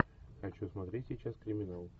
хочу смотреть сейчас криминал